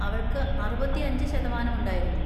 അവൾക്ക് അറുപത്തിയഞ്ച് ശതമാനം ഉണ്ടായിരുന്നു.